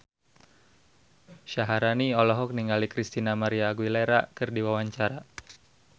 Syaharani olohok ningali Christina María Aguilera keur diwawancara